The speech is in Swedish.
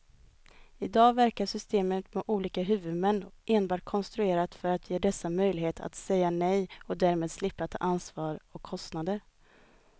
I dag verkar systemet med olika huvudmän enbart konstruerat för att ge dessa möjlighet att säga nej och därmed slippa ta ansvar och kostnader.